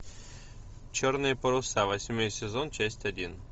черные паруса восьмой сезон часть один